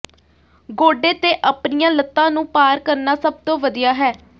ਗੋਡੇ ਤੇ ਆਪਣੀਆਂ ਲੱਤਾਂ ਨੂੰ ਪਾਰ ਕਰਨਾ ਸਭ ਤੋਂ ਵਧੀਆ ਹੈ